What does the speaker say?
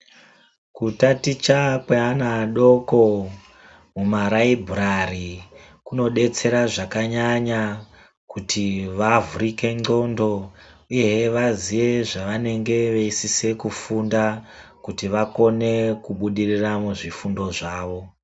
Kutaticha kweana adoko mumaraibhurari kunobetsera zvakanyanya kuti vavhurike ndxondo, uyehe vaziye zvavanenge veisise kufunda kuti vakone kubudirira muzvifundo zvavo.